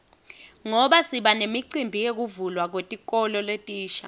ngoba sibanemicimbi yekuvulwa kwetikolo letisha